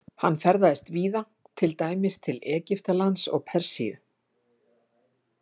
Hann ferðaðist víða, til dæmis til Egyptalands og Persíu.